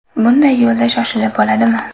Bunday yo‘lda shoshib bo‘ladimi?